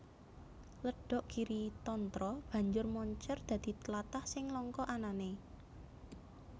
Ledhok Giritantra banjur moncèr dadi tlatah sing langka anané